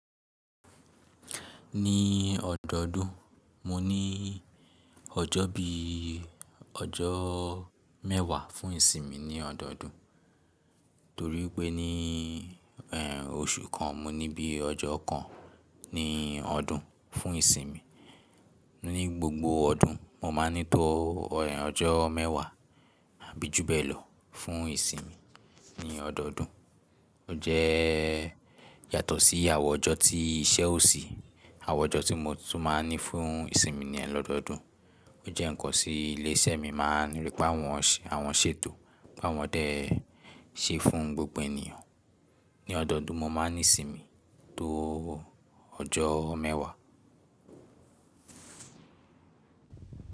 Ní ọdọọdún mo ní ọjọ́ bí i ọjọ́ mẹ́wàá fún ìsinmi ní ọdọọdún. Torí wipé ní oṣù kan mo ní bí i ọjọ́ kan ní ọdún fún ìsinmi. Ní gbogbo ọdún mo máa ń ní tó ọjọ́ mẹ́wàá àbí jù bẹ́ẹ̀lọ fún ìsinmi ní ọdọọdún. Ó jẹ́ yàtọ̀ sí àwọn ọjọ́ tí iṣẹ́ ò sí, àwọn ọjọ́ tí mo tún máa ń ní fún ìsinmi ni lọ́dọọdún. Ó jẹ́ ǹkan tí ilé iṣẹ́ mi máa ń rí pé àwọn ṣe, àwọn ṣètò pé àwọn dé ṣe fún gbogbo ènìyàn. Ní ọdọọdún mo máa ń ní sinmi tó ọjọ́ mẹ́wàá.